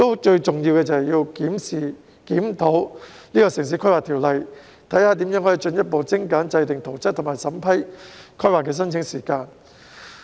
最重要的是檢視和檢討《城市規劃條例》，研究如何可進一步縮短制訂圖則及審批規劃申請的時間。